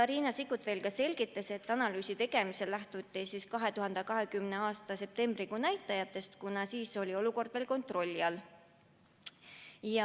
Riina Sikkut selgitas, et analüüsi tegemisel lähtuti 2020. aasta septembrikuu näitajatest, kuna siis oli olukord kontrolli all.